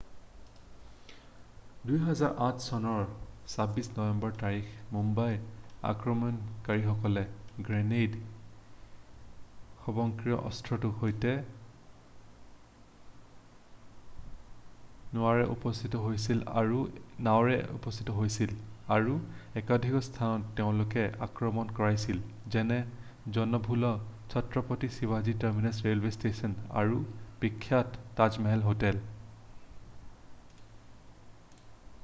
2008 চনৰ 26 নৱেম্বৰ তাৰিখে মুম্বাই আক্ৰমণকাৰীসকলে গ্ৰেনেড স্বয়ংক্ৰিয় অস্ত্ৰৰ সৈতে নাৱেৰে উপস্থিত হৈছিল আৰু একাধিক স্থানত তেওঁলোকে আক্ৰমণ কৰিছিল যেনে জনবহুল চত্ৰপতি শিৱাজী টাৰমিনাছ ৰেলৱে ষ্টেশ্যন আৰু বিখ্যাত তাজমহল হোটেল